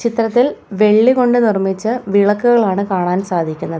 ചിത്രത്തിൽ വെള്ളി കൊണ്ട് നിർമ്മിച്ച വിളക്കുകളാണ് കാണാൻ സാധിക്കുന്നത്.